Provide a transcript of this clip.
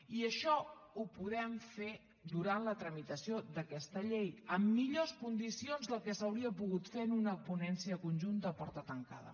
i això ho podem fer durant la tramitació d’aquesta llei amb millors condicions del que s’hauria pogut fer en una ponència conjunta a porta tancada